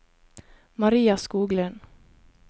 Maria Skoglund